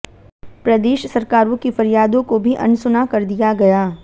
प्रदेश सरकारों की फरियादों को भी अनसुना कर दिया गया